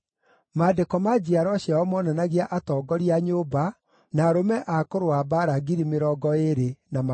Maandĩko ma njiarwa ciao moonanagia atongoria a nyũmba, na arũme a kũrũa mbaara 20,200.